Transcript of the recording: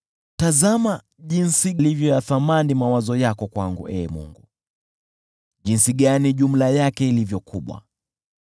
Tazama jinsi yalivyo ya thamani mawazo yako kwangu, Ee Mungu! Jinsi jumla yake ilivyo kubwa!